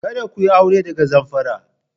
Kada ku yi aure daga Zamfara!